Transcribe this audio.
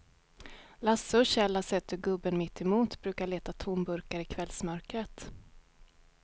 Lasse och Kjell har sett hur gubben mittemot brukar leta tomburkar i kvällsmörkret.